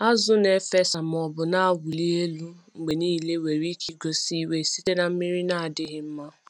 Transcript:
Azụ na-efesa maọbụ na-awụli elu mgbe niile nwere ike igosi iwe site na mmiri na-adịghị mma.